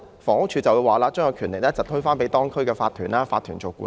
房屋署往往會把權力推給法團，交由法團處理。